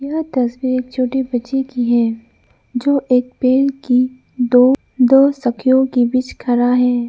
यह तस्वीर एक छोटी बच्ची की है जो एक पेड़ की दो दो शाक्यों के बीच खड़ा है।